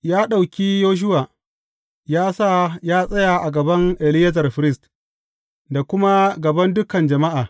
Ya ɗauki Yoshuwa, ya sa ya tsaya a gaban Eleyazar firist, da kuma gaban dukan jama’a.